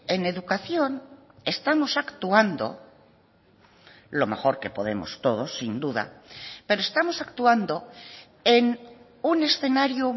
en educación estamos actuando lo mejor que podemos todos sin duda pero estamos actuando en un escenario